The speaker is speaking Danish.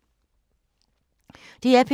DR P2